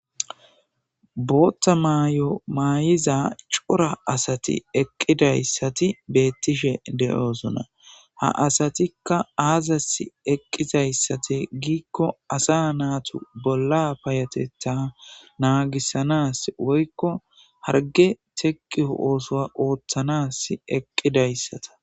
booththa mayo maayiza cora asati eqqidayssati beettishe de'osonna ha asatikka aazasi eqqizayssati giikko asa naatu bolla payateta naagissanas woykko harge teqio ooso ooththanas eqqidayssata